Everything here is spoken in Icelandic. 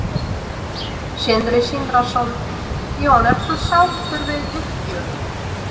Sindri Sindrason: Jón ertu sáttur við uppgjörið?